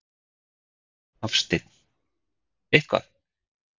Hafsteinn: Eitthvað?